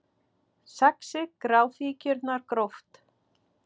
Saxið gráfíkjurnar gróft